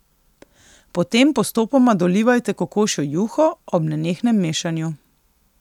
Potem postopoma dolivajte kokošjo juho, ob nenehnem mešanju.